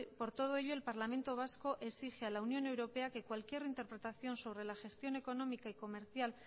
por todo ello el parlamento vasco exige a la unión europea que cualquier interpretación sobre la gestión económica y comercial